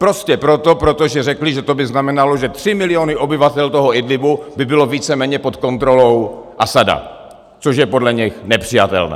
Prostě proto, protože řekli, že to by znamenalo, že tři miliony obyvatel toho Idlíbu by byly víceméně pod kontrolou Asada, což je podle nich nepřijatelné.